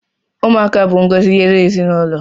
Ụmụaka bụ ngọzi nye ezinụlọ